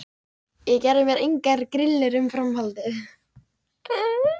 Ég gerði mér engar grillur um framhaldið.